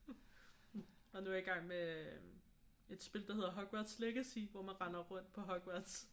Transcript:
Og nu er jeg i gang med et spil der hedder Hogwarts Legacy hvor man render rundt på Hogwarts